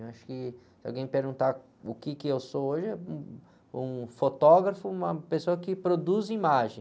Eu acho que se alguém perguntar o quê que eu sou hoje, é, um, um fotógrafo, uma pessoa que produz imagem.